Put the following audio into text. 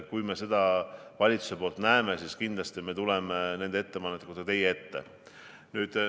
Kui me seda valitsuses näeme, siis kindlasti me tuleme nende ettepanekutega teie ette.